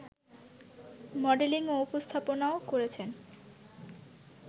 modelling ও উপস্থাপনাও করেছেন